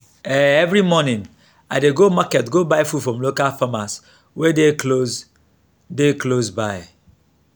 um every morning i dey go market go buy food from local farmers wey dey close dey close by.